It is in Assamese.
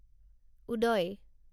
উদয়